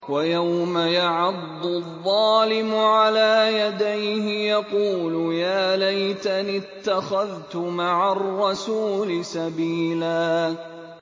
وَيَوْمَ يَعَضُّ الظَّالِمُ عَلَىٰ يَدَيْهِ يَقُولُ يَا لَيْتَنِي اتَّخَذْتُ مَعَ الرَّسُولِ سَبِيلًا